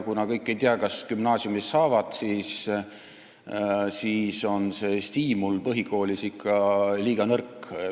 Kuna kõik ei tea, kas nad gümnaasiumi saavad, siis on see stiimul põhikoolis ikka liiga nõrk.